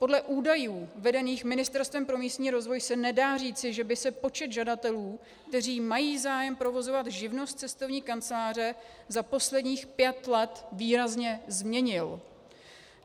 Podle údajů vedených Ministerstvem pro místní rozvoj se nedá říci, že by se počet žadatelů, kteří mají zájem provozovat živnost cestovní kanceláře, za posledních pět let výrazně změnil.